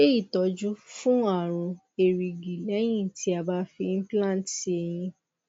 ṣe itọju fún àrùn erigi lẹyìn ti a ba fi implant si eyín